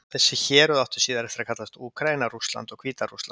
Þessi héruð áttu síðar eftir að kallast Úkraína, Rússland og Hvíta-Rússland.